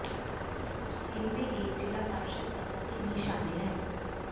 इनमें एक जिला पार्षद का पति भी शामिल है